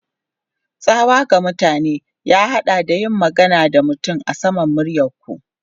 Tsawa ga mutane ya haɗa da yin magana da mutane a saman muryar ku.